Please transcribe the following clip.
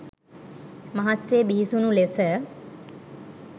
මහත් සේ බිහිසුණු ලෙස